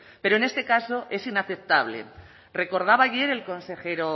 pero en este caso es inaceptable recordaba ayer el consejero